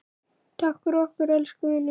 Takk fyrir okkur, elsku vinur.